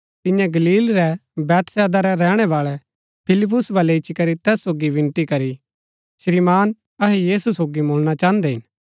तियें गलील रै बैतसैदा रै रैहणै बाळै फिलिप्पुस बलै इच्ची करी तैस सोगी विनती करी श्रीमान अहै यीशु सोगी मुलणा चाहन्दै हिन